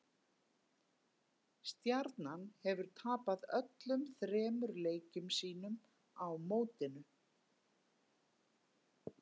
Stjarnan hefur tapað öllum þremur leikjum sínum á mótinu.